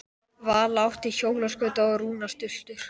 Vala átti hjólaskauta og Rúna stultur.